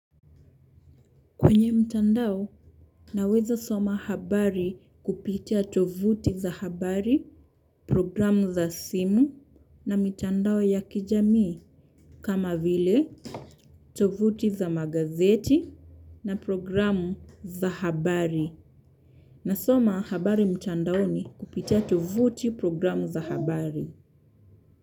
Kwenye mtandao, naweza soma habari kupitia tovuti za habari, programu za simu na mitandao ya kijamii kama vile, tovuti za magazeti na programu za habari. Nasoma habari mtandaoni kupitia tovuti programu za habari.